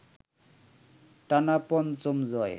টানা পঞ্চম জয়